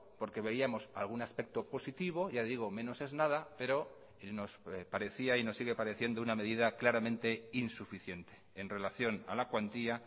porque veíamos algún aspecto positivo ya digo menos es nada pero nos parecía y nos sigue pareciendo una medida claramente insuficiente en relación a la cuantía